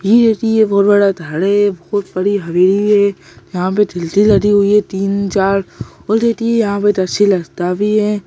ये देथिये बहुत बड़ा धर है बहुत बड़ी हवेली है यहां पे थिलती लदी हुई है तीन-चार और देथिये यहाँ पे इधल से रास्ता भी है।